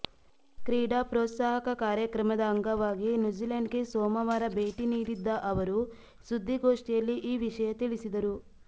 ಕ್ರೀಡಾ ಪ್ರೋತ್ಸಾಹಕ ಕಾರ್ಯಕ್ರಮದ ಅಂಗವಾಗಿ ನ್ಯೂಜಿಲೆಂಡ್ಗೆ ಸೋಮವಾರ ಭೇಟಿ ನೀಡಿದ್ದ ಅವರು ಸುದ್ದಿಗೋಷ್ಠಿಯಲ್ಲಿ ಈ ವಿಷಯ ತಿಳಿಸಿದರು